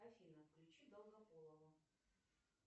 афина включи долгополова